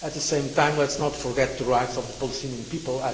At the same time, let us not forget the rights of the Palestinian people.